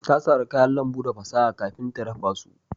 Ta sara kayan lambu da fasaha kafin ta dafa su